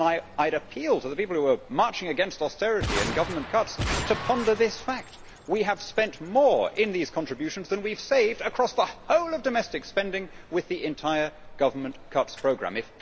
I would appeal to the people who are marching against austerity and government cuts to ponder this fact we have spent more in these contributions than we have saved across the whole of domestic spending with the entire government cuts programme.